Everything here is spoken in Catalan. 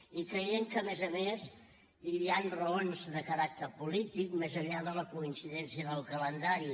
i creiem que a més a més hi han raons de caràcter polític més enllà de la coincidència en el calendari